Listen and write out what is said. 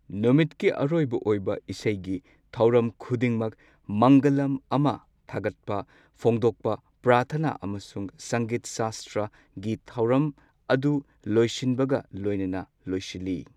ꯅꯨꯃꯤꯠꯀꯤ ꯑꯔꯣꯏꯕ ꯑꯣꯏꯕ ꯏꯁꯩꯒꯤ ꯊꯧꯔꯝ ꯈꯨꯗꯤꯡꯃꯛ, ꯃꯪꯒꯂꯥꯝ ꯑꯃ, ꯊꯥꯒꯠꯄ ꯐꯣꯡꯗꯣꯛꯄ ꯄ꯭ꯔꯥꯊꯅ ꯑꯃꯁꯨꯡ ꯁꯪꯒꯤꯠ ꯁꯥꯁꯇ꯭ꯔꯒꯤ ꯊꯧꯔꯝ ꯑꯗꯨ ꯂꯣꯏꯁꯤꯟꯕꯒ ꯂꯣꯏꯅꯅ ꯂꯣꯏꯁꯤꯜꯂꯤ꯫